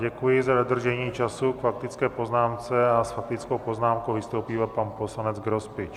Děkuji za dodržení času k faktické poznámce a s faktickou poznámkou vystoupí pan poslanec Grospič.